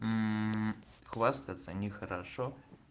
хвастаться нехорошо